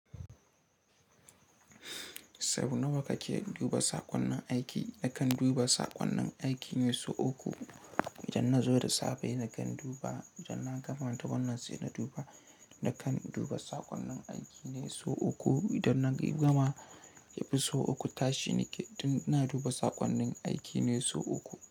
Sau nawa kake duba saƙonnin aiki? Nakan duba saƙonnin aiki ne sau uku. Idan na zo da safe nakan duba, idan na gama ta wannan sai na duba, na kan duba saƙonnin aiki ne sau uku. Idan na gama yafi sau uku tashi nake, don na duba saƙonnin aiki ne sau uku.